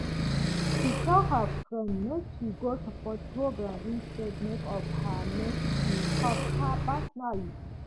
she tell her friend make she go support program instead make of her make she help her personally